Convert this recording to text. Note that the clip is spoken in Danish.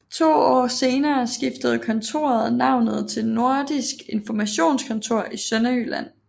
To år senere skiftede kontoret navnet til Nordisk Informationskontor i Sønderjylland